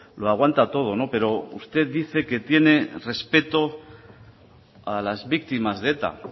lo aguanta todo pero usted dice que tiene respeto a las víctimas de eta